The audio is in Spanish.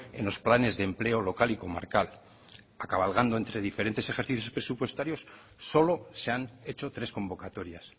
en los planes de empleo local y comarcal cabalgando entre diferentes ejercicios presupuestarios solo se han hecho tres convocatorias